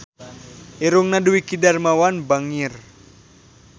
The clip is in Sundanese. Irungna Dwiki Darmawan bangir